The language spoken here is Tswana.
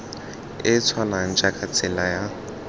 e tshwanang jaaka tsela ya